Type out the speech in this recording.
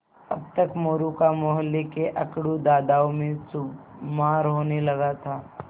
अब तक मोरू का मौहल्ले के अकड़ू दादाओं में शुमार होने लगा था